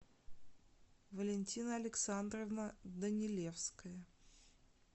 валентина александровна данилевская